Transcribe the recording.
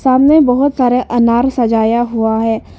सामने बहोत सारे अनार सजाया हुआ है।